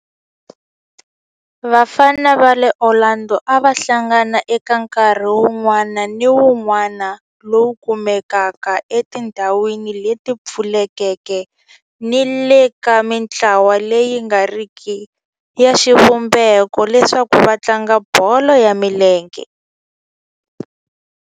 Vafana va le Orlando a va hlangana eka nkarhi wun'wana ni wun'wana lowu kumekaka etindhawini leti pfulekeke ni le ka mintlawa leyi nga riki ya xivumbeko leswaku va tlanga bolo ya milenge.